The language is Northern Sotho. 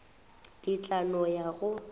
ke tla no ya go